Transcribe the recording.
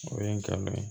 O ye ngalon ye